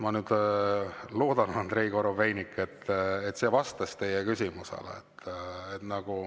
" Ma loodan, Andrei Korobeinik, et see vastas teie küsimusele.